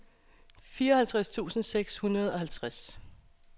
fireoghalvtreds tusind seks hundrede og halvtreds